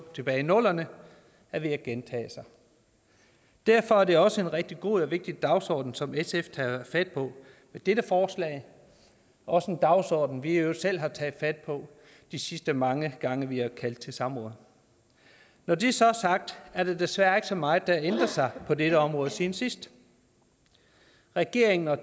tilbage i nullerne er ved at gentage sig derfor er det også er en rigtig god og vigtig dagsorden som sf tager fat på med dette forslag også en dagsorden vi i øvrigt selv har taget fat på de sidste mange gange vi har kaldt til samråd når det så er sagt er der desværre ikke så meget der har ændret sig på dette område siden sidst regeringen og